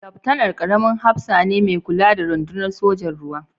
Laftanar, ƙaramin hafsa ne mai kula da rundunar sojan ruwa